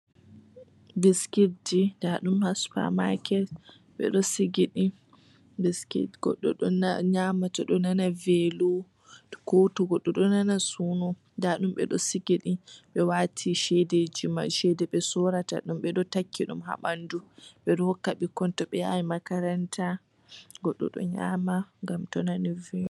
Biskit ji. Ndaɗum ha supa maaket ɓeɗo sigiɗi. Biskit goɗɗo ɗo nyama to ɗonana velo, ko to goɗɗo do nana suno. Ndaɗum ɓeɗo sigiɗi. Ɓe wati chedemai chede ɓe sorata ɓedo takki ɗum ha ɓandu. ɓedo hokka ɓikkoi to ɗo yaha makaranta. Goɗɗo ɗo nyama ngam to nani velo.